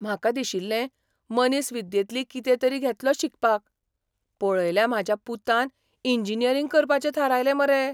म्हाका दिशिल्लें मनीसविद्येंतली कितें तरी घेतलो शिकपाक, पळयल्या म्हाज्या पुतान इंजिनियरिंग करपाचें थारायलें मरे.